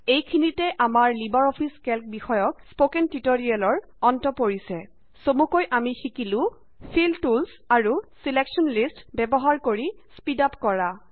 এইখিনিতে আমাৰ LibreOffice Calc বিষয়ক স্পকেন টিউটৰিয়েলৰ অন্ত পৰিছে চমুকৈ আমি শিকিলো ফিল টুলচ আৰু ছিলেক্শ্যন লিষ্টচ ব্যৱহাৰ কৰি স্পীড আপ কৰা